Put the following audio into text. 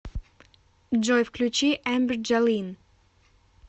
джой включи эмбер джолин